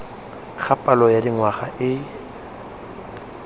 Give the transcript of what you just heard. ga palo ya dingwaga e